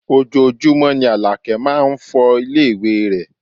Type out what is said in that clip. Ojoojúmọ́ ni Àlàkẹ́ máá ń fọ ilé ìwé rẹ̀